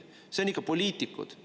Need on ikka poliitikud.